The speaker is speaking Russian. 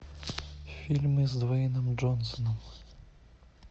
фильмы с дуэйном джонсоном